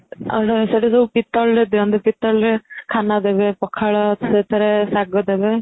ଆଉ ଯୋଉ ଶେଠୀ ଦିଅନ୍ତି ପିତ୍ତଳରେ ଦିଅନ୍ତି ଖାନା ଦେବେ ପଖାଳ ସେଥିରେ ଶାଗ ଦେବେ